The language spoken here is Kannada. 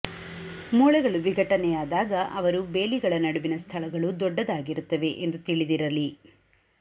ಮೂಳೆಗಳು ವಿಘಟನೆಯಾದಾಗ ಅವರು ಬೇಲಿಗಳ ನಡುವಿನ ಸ್ಥಳಗಳು ದೊಡ್ಡದಾಗಿರುತ್ತವೆ ಎಂದು ತಿಳಿದಿರಲಿ